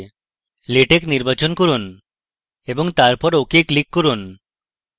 latex নির্বাচন করুন এবং তারপর click করুন ok